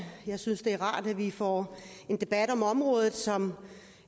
jeg synes det er rart at vi får en debat om området som